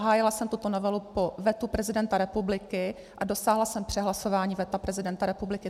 Hájila jsem tuto novelu po vetu prezidenta republiky a dosáhla jsem přehlasování veta prezidenta republiky.